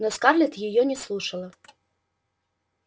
но скарлетт её не слушала